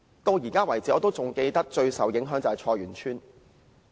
我至今仍記得，最受影響的是菜園村。